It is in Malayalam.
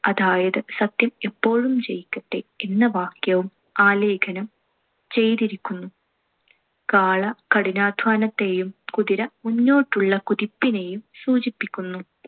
അതായത് സത്യം എപ്പോഴും ജയിക്കട്ടെ എന്ന വാക്യവും ആലേഖനം ചെയ്തിരിക്കുന്നു. കാള കഠിനാധ്വാനത്തേയും കുതിര മുന്നോട്ടുള്ള കുതിപ്പിനേയും സൂചിപ്പിക്കുന്നു.